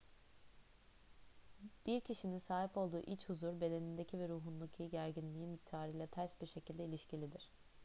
bir kişinin sahip olduğu iç huzur bedenindeki ve ruhundaki gerginliğin miktarıyla ters bir şekilde ilişkilidir